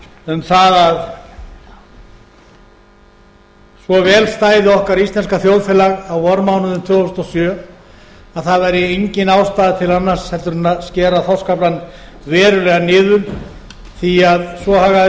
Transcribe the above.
um það að svo vel stæði okkar íslenska þjóðfélag á vormánuðum tvö þúsund og sjö að það væri engin ástæða til annars heldur en skera þorskaflann verulega niður því svo hagaði